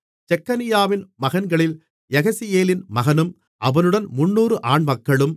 செக்கனியாவின் மகன்களில் யகசியேலின் மகனும் அவனுடன் 300 ஆண்மக்களும்